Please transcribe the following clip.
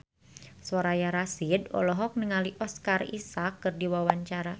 Soraya Rasyid olohok ningali Oscar Isaac keur diwawancara